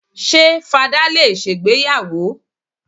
Ṣé fadá lè ṣègbéyàwó àwó?